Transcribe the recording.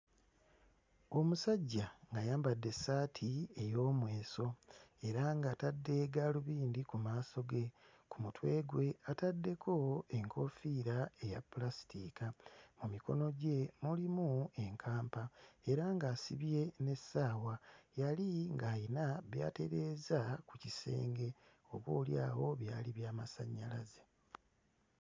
Omusajja ng'ayambadde essaati ey'omweso era ng'atadde gaalubindi ku maaso ge. Ku mutwe gwe ataddeko enkofiira eya ppulasitiika. Mu mikono gye mulimu enkampa era ng'asibye n'essaawa, yali ng'ayina by'atereeza ku kisenge oboolyawo byali byamasannyalaze.